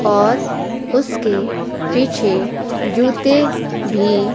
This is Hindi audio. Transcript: और उसके पीछे जूते भी--